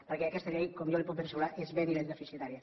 perquè aquesta llei com jo li puc ben assegurar és ben i ben deficitària